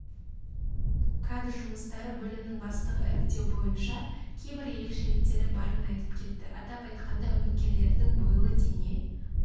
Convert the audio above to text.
кадр жұмыстары бөлімінің бастығы іріктеу бойынша кейбір ерекшеліктері барын айтып кетті атап айтқанда үміткерлердің бойлы дене